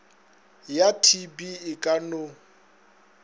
ya tb e ka no